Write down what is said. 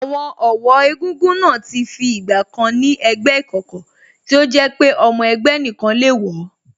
Àwọn ọ̀wọ́ egúngún náà ti fi ìgbà kan ni ẹgbẹ́ ìkọ̀kọ̀ tí ó jẹ́ pé ọmọ ẹgbẹ́ nìkan le wọ̀